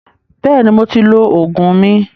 Bẹ́ẹ̀ni, mo ti lọ Ògùn mi